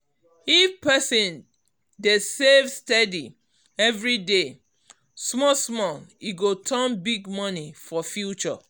if person dey save steady every day small small e go turn big money for future.